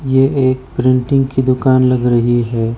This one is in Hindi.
ये एक प्रिंटिंग की दुकान लग रही है।